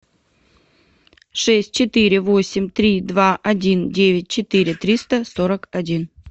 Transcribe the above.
шесть четыре восемь три два один девять четыре триста сорок один